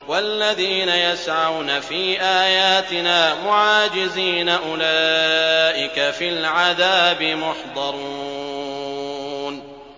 وَالَّذِينَ يَسْعَوْنَ فِي آيَاتِنَا مُعَاجِزِينَ أُولَٰئِكَ فِي الْعَذَابِ مُحْضَرُونَ